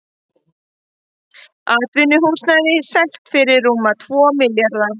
Atvinnuhúsnæði selt fyrir rúma tvo milljarða